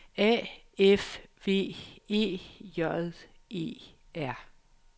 A F V E J E R